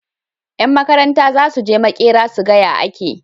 Yan Makaranta zasuje makera suga ya ake